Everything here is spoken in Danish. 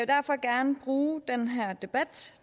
derfor gerne bruge den her debat